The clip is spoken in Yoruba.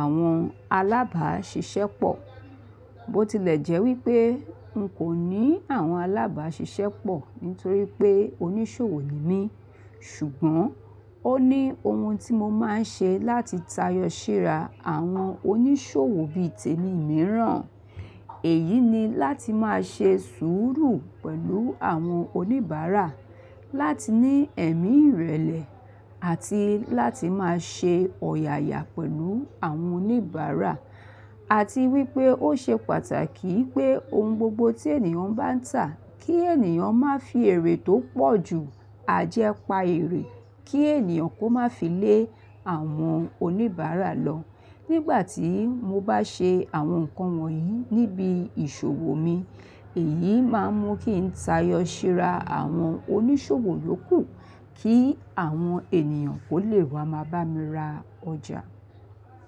àwọn alábàáṣiṣẹ́pọ̀? Bo tilẹ jẹ́ wípé n kò ní àwọn alábàáṣiṣẹ́pọ̀ nítorí pé oníṣòwò ni mí, ṣùgbọ́n ó ní ohun tí mo máa ń ṣe láti tayọ ṣíra àwọn oníṣòwò bí i tèmi mìíràn. Èyí ni láti máa ṣe sùúrù pẹ̀lú àwọn oníbàárà, láti ní ẹ̀mí ìrẹ̀lẹ̀ àti láti máa ṣe ọ̀yàyà pẹ̀lú àwọn oníbàárà. A ti wípé ó ṣe pàtàkì pé ohun gbogbo tí ènìyàn bá ń tà, kí ènìyàn má fi èrè tó pọ̀ ju ajẹ́ pa èrè, kí ènìyàn kó má fi lé àwọn oníbàárà lọ. Nígbà tí mo bá ṣe àwọn nǹkan wọ̀nyí níbi ìṣòwò mi, èyí má ń mú kí ń tayọ ṣira àwọn oníṣòwò to ku, kí àwọn ènìyàn kó lè wá máa bá mi ra ọjà.